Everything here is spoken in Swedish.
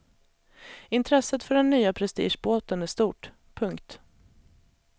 Intresset för den nya prestigebåten är stort. punkt